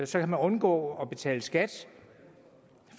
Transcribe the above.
så kan man undgå at betale skat